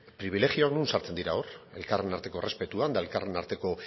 pribilegioak non sartzen dira hor elkarren arteko errespetuan eta elkarren arteko